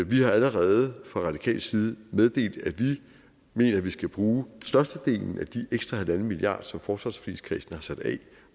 vi har allerede fra radikal side meddelt at vi mener vi skal bruge størstedelen af den ekstra halvanden milliard som forsvarsforligskredsen har sat af